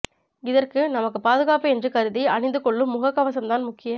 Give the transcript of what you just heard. இதற்கு நமக்கு பாதுகாப்பு என்று கருதி அணிந்து கொள்ளும் முகக் கவசம்தான் முக்கியக்